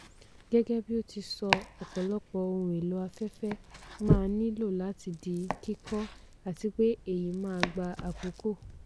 gẹ́gẹ́ bí ó ti sọ ọ̀pọ̀lọpọ̀ ohun èlò afẹ́fẹ́ máa nílò láti di kíkọ́ àti pé èyí máa gba àkókò.